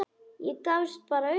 Ég gafst bara upp.